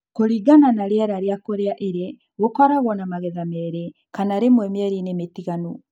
Kulingana na riera na kũria ĩrĩ , gokoragwo na magetha merĩ kana rĩmwe mĩerini mtiganu.